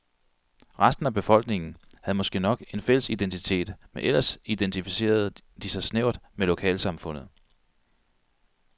Resten af befolkningen havde måske nok en fælles identitet, men ellers identificerede de sig snævert med lokalsamfundet.